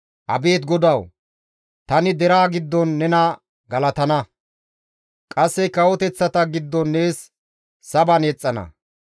Abeet GODAWU! Tani deraa giddon nena galatana; qasse kawoteththata giddon nees saban yexxana.